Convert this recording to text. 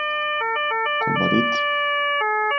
Kobarid.